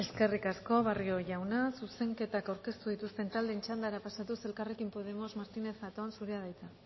eskerrik asko barrio jauna zuzenketak aurkeztu dituzten taldeen txandara pasatuz elkarrekin podemos martínez zatón zurea da hitza